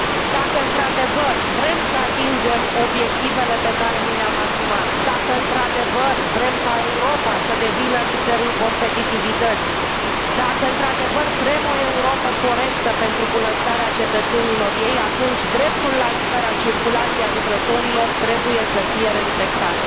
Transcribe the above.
Dacă într adevăr vrem să atingem obiectivele pe care ni le am asumat, dacă într adevăr vrem ca Europa să devină liderul competitivității, dacă într adevăr vrem o Europă corectă pentru bunăstarea cetățenilor ei, atunci dreptul la libera circulație a lucrătorilor trebuie să fie respectat.